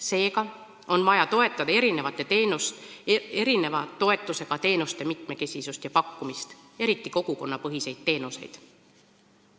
Seega on vaja toetada erineva toetusega teenuste mitmekesisust ja pakkumist, eriti kogukonnapõhiseid teenuseid.